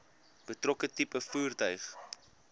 betrokke tipe voertuig